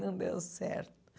Não deu certo.